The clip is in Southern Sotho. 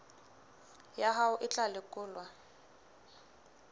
ya hao e tla lekolwa